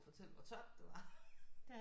At fortælle hvor tørt det var